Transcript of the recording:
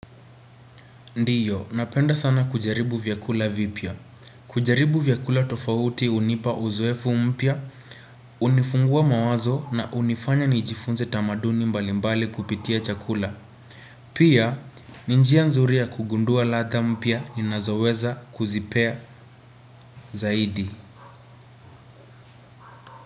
Ndio, napenda sana kujaribu vyakula vipya. Kujaribu vyakula tofauti hunipa uzoefu mpya, hunifungua mawazo na hunifanya nijifunze tamaduni mbalimbali kupitia chakula. Pia, ni njia nzuri ya kugundua ladha mpya ninazo weza kuzipea zaidi.